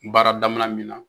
baara damina min na.